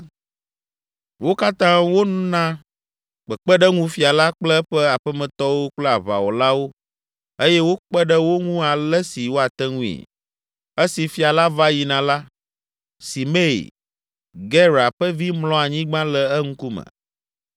Wo katã wona kpekpeɖeŋu fia la kple eƒe aƒemetɔwo kple aʋawɔlawo eye wokpe ɖe wo ŋu ale si woate ŋui. Esi fia la va yina la, Simei, Gera ƒe vi mlɔ anyigba le eŋkume